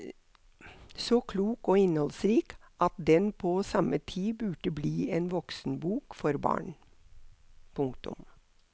Så klok og innholdsrik at den på samme tid burde bli en voksenbok for barn. punktum